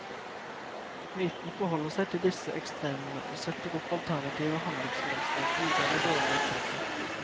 Mytene forholder seg til disse ekstremene, og setter opp alternative handlingsmønstre, gode eller dårlige eksempler.